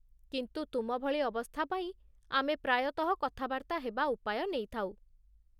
କିନ୍ତୁ ତୁମ ଭଳି ଅବସ୍ଥା ପାଇଁ, ଆମେ ପ୍ରାୟତଃ କଥାବାର୍ତ୍ତା ହେବା ଉପାୟ ନେଇଥାଉ।